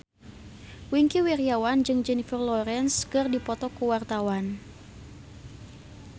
Wingky Wiryawan jeung Jennifer Lawrence keur dipoto ku wartawan